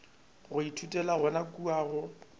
o ithutela yona kua go